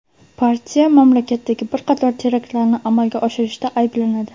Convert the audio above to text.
Partiya mamlakatdagi bir qator teraktlarni amalga oshirishda ayblanadi.